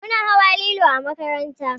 Muna hawa lilo a makaranta